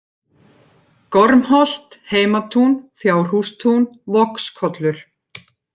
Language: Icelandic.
Gormholt, Heimatún, Fjárhústún, Vogskollur